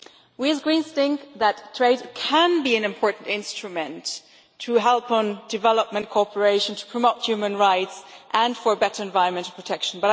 We Greens think that trade can be an important instrument to help development cooperation, to promote human rights and for better environmental protection.